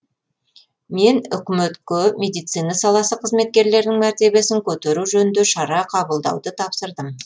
мен үкіметке медицина саласы қызметкерлерінің мәртебесін көтеру жөнінде шаралар қабылдауды тапсырдым